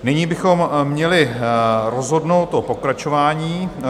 Nyní bychom měli rozhodnout o pokračování.